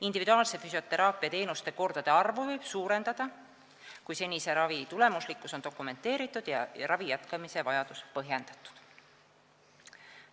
Individuaalse füsioteraapiateenuse kordade arvu võib suurendada, kui senise ravi tulemuslikkus on dokumenteeritud ja ravi jätkamise vajadus põhjendatud.